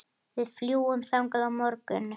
Við fljúgum þangað á morgun.